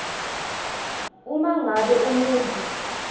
uma ngabe umuntfu